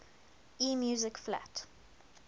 e music flat